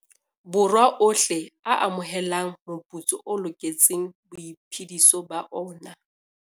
Borwa ohle a amohelang moputso o loketseng boiphediso ba ona.